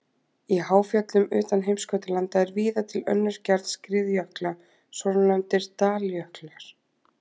Í háfjöllum utan heimskautalanda er víða til önnur gerð skriðjökla, svonefndir daljöklar.